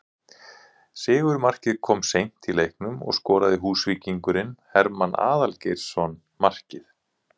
Sigurmarkið kom seint í leiknum og skoraði Húsvíkingurinn Hermann Aðalgeirsson markið